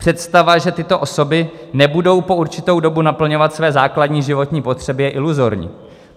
Představa, že tyto osoby nebudou po určitou dobu naplňovat své základní životní potřeby, je iluzorní.